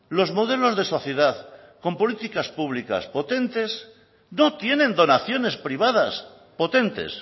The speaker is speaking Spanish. los modelos de sociedad con políticas públicas potentes no tienen donaciones privadas potentes